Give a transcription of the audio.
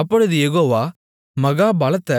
அப்பொழுது யெகோவா மகா பலத்த